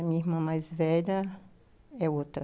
Minha irmã mais velha é outra.